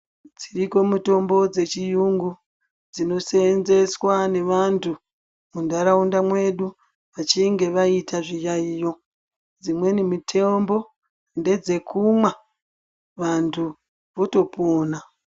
Dziriko mitombo dzechiyungu dzinosenzeswa nevantu mundharaunda mwedu vachinge vaita zviyaiyo. Dzimweni mitombo ndedzekumwa, vantu votopona.